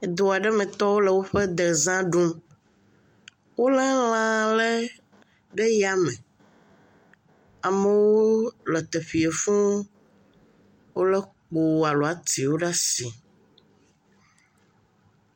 Edu aɖe metɔwo le woƒe dezã ɖum. Wolé lãaa lé ɖe yame. Amewooo le teƒeɛ fũ. Wolé kpoo alo atiwo ɖaa si